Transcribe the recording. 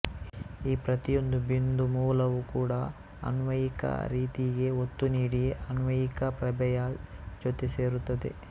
ಈ ಪ್ರತಿಯೊಂದೂ ಬಿಂದು ಮೂಲವೂ ಕೂಡ ಅನ್ವಯಿಕ ರೀತಿಗೆ ಒತ್ತು ನೀಡಿ ಅನ್ವಯಿಕ ಪ್ರಭೆಯ ಜೊತೆ ಸೇರುತ್ತದೆ